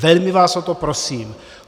Velmi vás o to prosím.